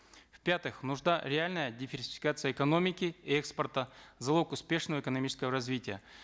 в пятых реальная диверсификация экономики и экспорта залог успешного экономического развития